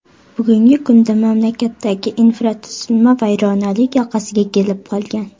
Bugungi kunda mamlakatdagi infratuzilma vayronalik yoqasiga kelib qolgan.